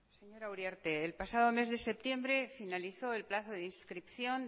señora uriarte el pasado mes de septiembre finalizó el plazo de inscripción